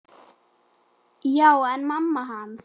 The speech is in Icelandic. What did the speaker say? Já, en mamma hans.